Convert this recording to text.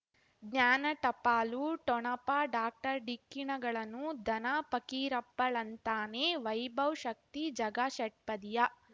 ಜ್ಞಾನ ಟಪಾಲು ಠೊಣಪ ಡಾಕ್ಟರ್ ಢಿಕ್ಕಿ ಣಗಳನು ಧನ ಫಕೀರಪ್ಪ ಳಂತಾನೆ ವೈಭವ್ ಶಕ್ತಿ ಝಗಾ ಷಟ್ಪದಿಯ